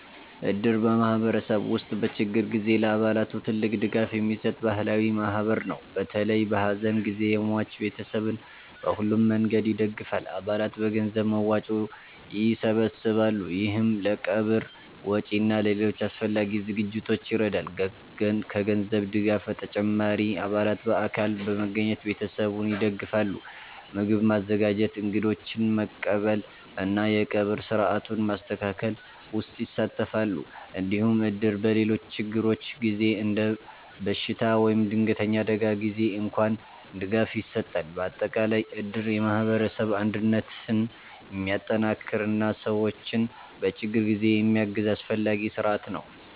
እድር በማህበረሰብ ውስጥ በችግር ጊዜ ለአባላቱ ትልቅ ድጋፍ የሚሰጥ ባህላዊ ማህበር ነው። በተለይ በሐዘን ጊዜ የሟች ቤተሰብን በሁሉም መንገድ ይደግፋል። አባላት በገንዘብ መዋጮ ይሰበሰባሉ፣ ይህም ለቀብር ወጪ እና ለሌሎች አስፈላጊ ዝግጅቶች ይረዳል። ከገንዘብ ድጋፍ በተጨማሪ አባላት በአካል በመገኘት ቤተሰቡን ይደግፋሉ። ምግብ ማዘጋጀት፣ እንግዶችን መቀበል እና የቀብር ሥርዓቱን ማስተካከል ውስጥ ይሳተፋሉ። እንዲሁም እድር በሌሎች ችግሮች ጊዜ እንደ በሽታ ወይም ድንገተኛ አደጋ ጊዜ እንኳን ድጋፍ ይሰጣል። በአጠቃላይ እድር የማህበረሰብ አንድነትን የሚጠናክር እና ሰዎችን በችግር ጊዜ የሚያግዝ አስፈላጊ ስርዓት ነው።